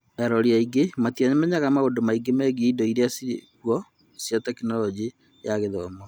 arori aingĩ matiamenyaga maũndũ maingĩ megiĩ indo iria irĩ kuo cia Tekinoronjĩ ya Gĩthomo.